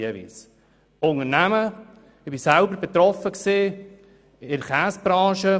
Ich war selber von einer solchen Situation betroffen.